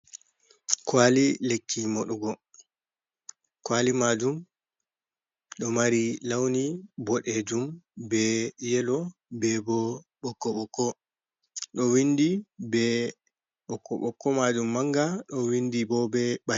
Kwali lekki modugo, kwali maajum ɗo mari launi boɗejum be yelo, be bo ɓokko ɓokko ɗo windi be ɓokko ɓokko maajum manga ɗo windi bo be.